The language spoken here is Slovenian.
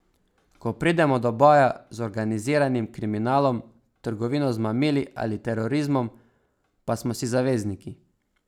Ko pridemo do boja z organiziranim kriminalom, trgovino z mamili ali terorizmom, pa smo si zavezniki.